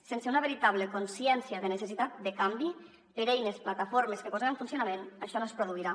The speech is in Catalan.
sense una veritable consciència de necessitat de canvi per eines plataformes que posem en funcionament això no es produirà